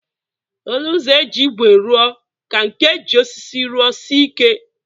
Olu ụzọ e ji ígwè ruọ ka nke e ji osisi ruọ sie ike